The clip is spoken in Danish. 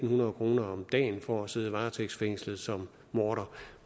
hundrede kroner om dagen for at sidde varetægtsfængslet som morder